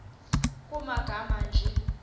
nkr kumagama anje